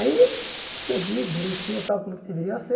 Aí você via direitinho tal como deveria ser